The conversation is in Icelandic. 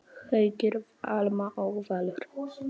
Haukur, Alma og Valur.